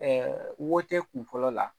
wote kun fɔlɔ la